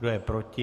Kdo je proti?